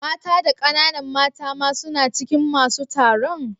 Mata da kananan mata ma suna cikin masun taron?